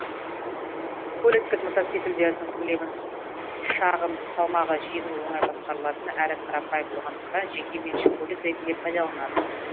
көліктік мотоциклдердің көлемін шағын салмағы жеңіл оңай басқарылатын әрі қарапайым болғандықтан жеке меншік көлік ретінде пайдаланады